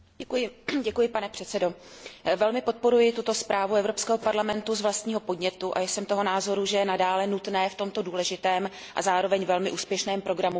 Pane předsedající, velmi podporuji tuto zprávu Evropského parlamentu z vlastního podnětu a jsem toho názoru, že je nadále nutné v tomto důležitém a zároveň velmi úspěšném programu pokračovat.